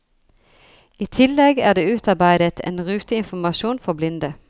I tillegg er det utarbeidet en ruteinformasjon for blinde.